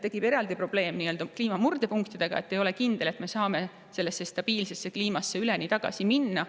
Eraldi probleem tekib nii-öelda kliima murdepunktide, mistõttu ei ole kindlust, kas me üldse saame stabiilsesse kliimasse tagasi minna.